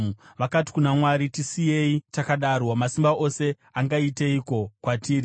Vakati kuna Mwari, ‘Tisiyei takadaro! Wamasimba Ose angaiteiko kwatiri?’